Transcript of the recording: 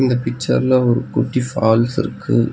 இந்த பிச்சர்ல ஒரு குட்டி ஃபால்ஸ் இருக்கு.